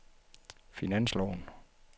finansloven